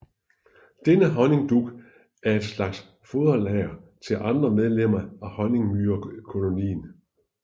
Denne honningdug er et slags foderlager til andre medlemmer af honningmyrekolonien